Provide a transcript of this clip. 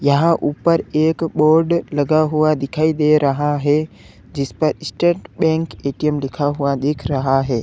यहां ऊपर एक बोर्ड लगा हुआ दिखाई दे रहा है जिस पर स्टेट बैंक ए_टी_एम लिखा हुआ दिख रहा है।